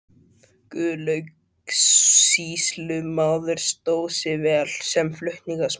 Guðlaugur sýslumaður stóð sig vel sem flutningsmaður.